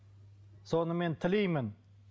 соны мен тілеймін